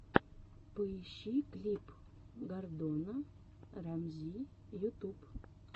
поищи клип гордона рамзи ютуб